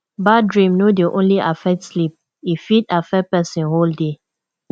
bad dream no dey only affect sleep e fit affect person whole day